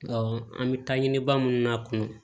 an bɛ taa ɲini ba minnu na kɔnɔ